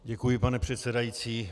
Děkuji, pane předsedající.